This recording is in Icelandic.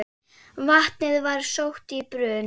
Vatnið var sótt í brunn.